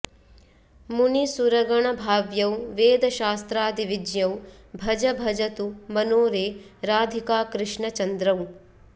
मुनिसुरगणभाव्यौ वेदशास्त्रादिविज्ञौ भज भज तु मनो रे राधिकाकृष्णचन्द्रौ